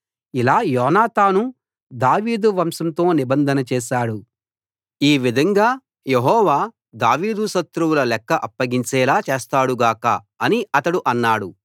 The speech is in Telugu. ఇలా యోనాతాను దావీదు వంశంతో నిబంధన చేశాడు ఈ విధంగా యెహోవా దావీదు శత్రువులు లెక్క అప్పగించేలా చేస్తాడు గాక అని అతడు అన్నాడు